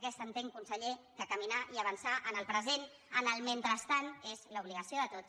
aquesta entenc conseller caminar i avançar en el present en el mentrestant és l’obligació de tots